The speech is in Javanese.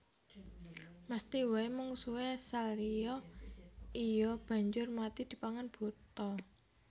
Mesthi waé mungsuhé Salya iya banjur mati dipangan buta